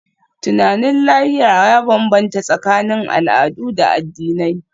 Tunanin lahira ya bambanta tsakanin al'adu da addinai.